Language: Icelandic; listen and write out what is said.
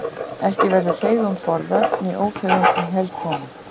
Ekki verður feigum forðað né ófeigum í hel komið.